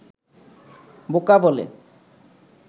বোকা বলে